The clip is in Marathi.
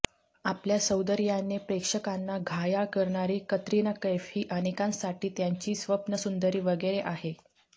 आपल्या सौंदर्याने प्रेक्षकांना घायाळ करणारी कतरिना कैफ ही अनेकांसाठी त्यांची स्वप्नसुंदरी वगैरे आहे